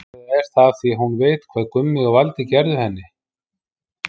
Eða er það af því að hún veit hvað Gummi og Valdi gerðu henni?